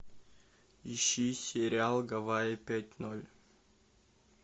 ищи сериал гавайи пять ноль